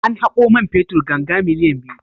An haƙo man fetur ganga miliyan biyu.